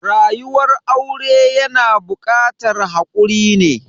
Rayuwar aure yana bukatar hakuri ne.